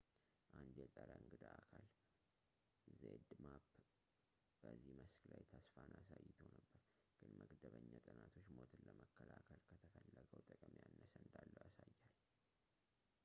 አንድ የጸረ እንግዳ አካል zmapp በዚህ መስክ ላይ ተስፋን አሳይቶ ነበር ግን መደበኛ ጥናቶች ሞትን ለመከላከል ከተፈለገው ጥቅም ያነሰ እንዳለው ያሳያል